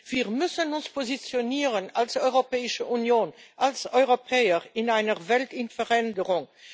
Wir müssen uns positionieren als Europäische Union, als Europäer in einer Welt in Veränderung.